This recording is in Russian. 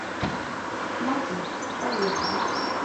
мотив поехали